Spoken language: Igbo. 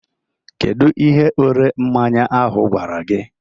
Kedụ ihe ore mmanya ahụ gwara gị?